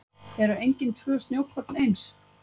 Eru engin tvö snjókorn eins?